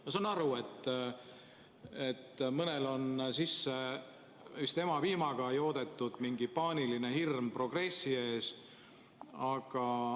Ma saan aru, et mõnele on vist juba emapiimaga sisse joodetud mingi paaniline hirm progressi ees.